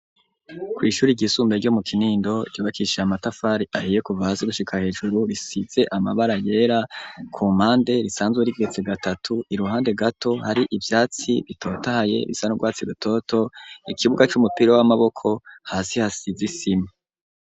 Kw'ishuri igisumbe ryo mu kinindo ryubakishaye amatafari ahiye kuva hasi gushika hejuru risize amabara yera ku mande risanzwe rigetse gatatu i ruhande gato hari ivyatsi bitotahye bisandwatse gatoto ikibuga c'umupira w'amaboko hasi hasizi i simu.